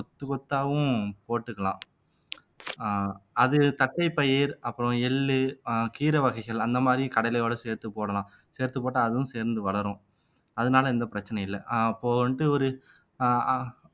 கொத்து கொத்தாவும் போட்டுக்கலாம் அஹ் அது தட்டைப் பயிர் அப்புறம் எள்ளு அஹ் கீரை வகைகள் அந்த மாதிரி கடலையோட சேர்த்துப் போடலாம் சேர்த்துப் போட்டா அதுவும் சேர்ந்து வளரும் அதனால எந்த பிரச்சனையும் இல்லை அப்போ வந்துட்டு ஒரு ஆஹ் அஹ்